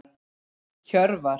Hjörvar